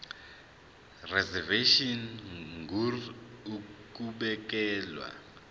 reservation ngur ukubekelwa